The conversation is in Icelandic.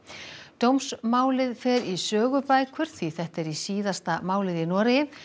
dómsmálið fer í sögubækur því þetta er síðasta málið í Noregi